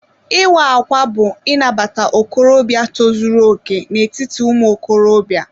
Ịwa ákwà bú Inabata okorobịa tozuru okè n'etiti ụmụ okorobịa.